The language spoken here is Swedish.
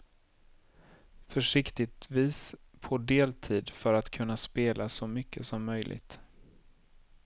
Försiktigtvis på deltid för att kunna spela så mycket som möjligt.